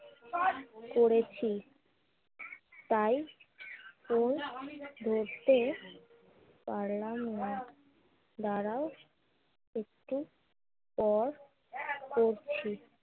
পড়েছি। তাই ফোন ধরতে পারলাম না। দাঁড়াও একটু পর করছি।